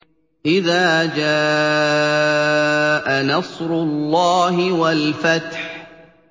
إِذَا جَاءَ نَصْرُ اللَّهِ وَالْفَتْحُ